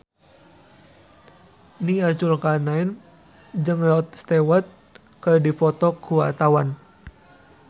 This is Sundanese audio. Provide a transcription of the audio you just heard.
Nia Zulkarnaen jeung Rod Stewart keur dipoto ku wartawan